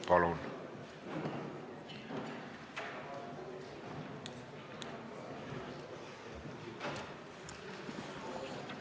Palun!